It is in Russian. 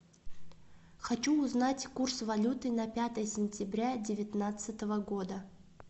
хочу узнать курс валюты на пятое сентября девятнадцатого года